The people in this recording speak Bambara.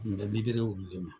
Nin bɛ olu de ma.